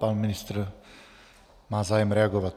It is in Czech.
Pan ministr má zájem reagovat.